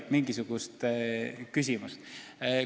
Mingit küsimust ei oleks.